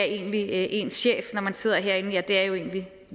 egentlig er ens chef når man sidder herinde det er jo egentlig